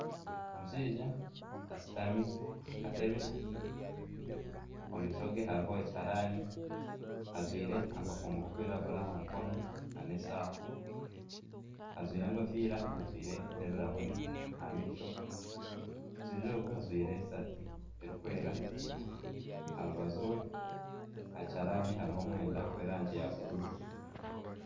Omushaija ashutami aha katebe omu maisho ge hariho ekiharaani. Ajwaire akakomo karikwiragura aha mukono n'eshaaha. Ajwaire enkofiira ajwaire n'ebirahuri aha maisho. Omushaija ogwo ajwaire esaati erikwera. Aha rubaju rwe aha kiharaani hariho omwenda gw'erangi ya bururu.